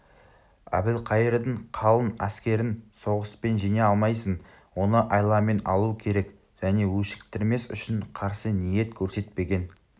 әбілқайырдың қалың әскерін соғыспен жеңе алмайсың оны айламен алу керек және өшіктірмес үшін қарсы ниет көрсетпеген